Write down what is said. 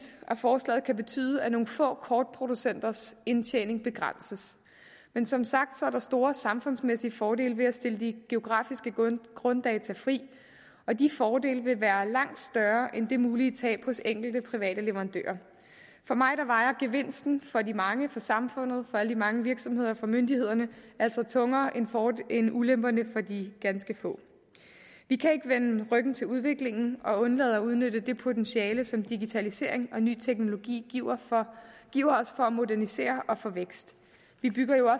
at forslaget kan betyde at nogle få kortproducenters indtjening begrænses men som sagt er der store samfundsmæssige fordele ved at stille de geografiske grunddata fri og de fordele vil være langt større end det mulige tab hos enkelte private leverandører for mig vejer gevinsten for de mange for samfundet for alle de mange virksomheder og for myndighederne altså tungere end ulemperne for de ganske få vi kan ikke vende ryggen til udviklingen og undlade at udnytte det potentiale som digitalisering og ny teknologi giver giver os for at modernisere og for vækst vi bygger jo